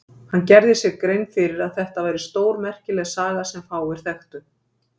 Hann gerði sér grein fyrir að þetta væri stórmerkileg saga sem fáir þekktur.